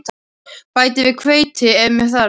Bætið við hveiti ef með þarf.